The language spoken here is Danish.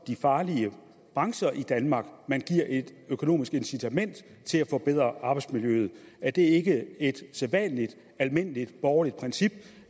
de farlige brancher i danmark man giver et økonomisk incitament til at forbedre arbejdsmiljøet er det ikke et sædvanligt almindeligt borgerligt princip